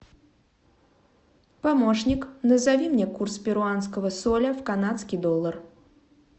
помощник назови мне курс перуанского соля в канадский доллар